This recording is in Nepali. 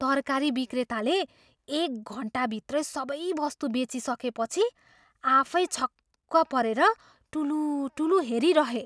तरकारी विक्रेताले एक घन्टाभित्रै सबै बस्तु बेचिसकेपछि आफै छक्क परेर टुलुटुलु हेरिरहे।